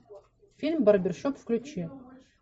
фильм барбершоп включи